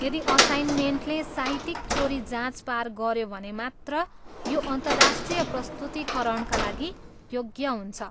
यदि असाइनमेन्टले साहित्यिक चोरी जाँच पार गऱ्यो भने मात्र यो अन्तर्राष्ट्रिय प्रस्तुतीकरणका लागि योग्य हुन्छ।